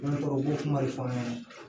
Ne tɔgɔ u bo kuma de fɔ an ɲɛna